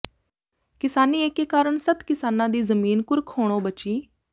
ਕਿਸਾਨੀ ਏਕੇ ਕਾਰਨ ਸੱਤ ਕਿਸਾਨਾਂ ਦੀ ਜ਼ਮੀਨ ਕੁਰਕ ਹੋਣੋਂ ਬਚੀ